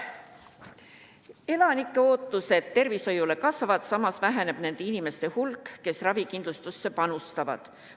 Elanike ootused tervishoiule kasvavad, samas väheneb nende inimeste hulk, kes ravikindlustusse panustavad.